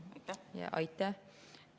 Aitäh!